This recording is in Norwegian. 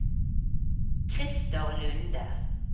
Krister Lunde